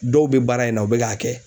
Dɔw bɛ baara in na u bɛ k'a kɛ.